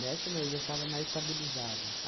Nessa não, eu já estava mais estabilizada.